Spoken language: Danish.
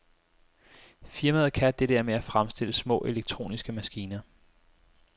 Firmaet kan det der med at fremstille små elektroniske maskiner.